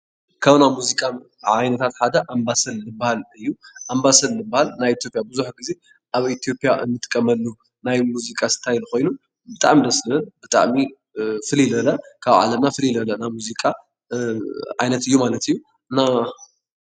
ካብ ናይ ሙዚቃ ዓይነታት ሓደ ኣምባሰል ዝበሃል እዩ፡፡ ኣምባሳል ዝበሃል ናይ ኢትዮጵያ ብዙሕ ጊዜ ኣብ ኢትዮጵያ እንጥቀመሉ ናይ ሙዚቃ ስታይል ኮይኑ ብጣዕሚ ደስ ዝብል ብጣዕሚ ፍልይ ዝበለ ካብ ዓለምና ፍልይ ዝበለ ናይ ሙዚቃ ዓይነት እዩ ማለት እዩ፡፡ እና